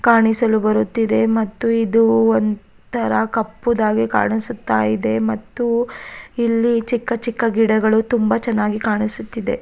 ಕಾಣಿಸಲು ಬರುತ್ತಿದೆ ಮತ್ತು ಇದು ಒಂತರ ಕಪ್ಪುದಾಗಿ ಕಾಣಿಸುತಾ ಇದೆ ಮತ್ತು ಇಲ್ಲಿ ಚಿಕ್ಕ ಚಿಕ್ಕ ಗಿಡಗಳು ತುಂಬಾ ಚೆನ್ನಾಗಿ ಕಾಣಿಸುತ್ತಿದೆ.